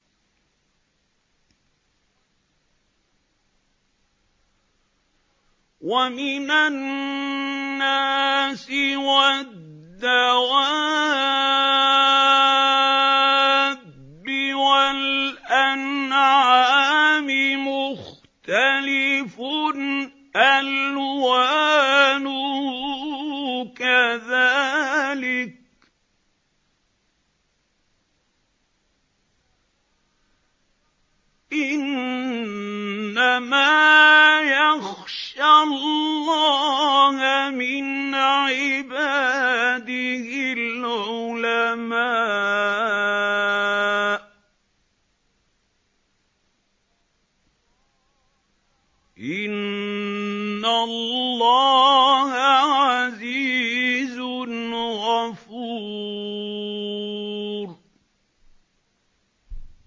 وَمِنَ النَّاسِ وَالدَّوَابِّ وَالْأَنْعَامِ مُخْتَلِفٌ أَلْوَانُهُ كَذَٰلِكَ ۗ إِنَّمَا يَخْشَى اللَّهَ مِنْ عِبَادِهِ الْعُلَمَاءُ ۗ إِنَّ اللَّهَ عَزِيزٌ غَفُورٌ